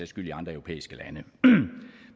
skyld i andre europæiske lande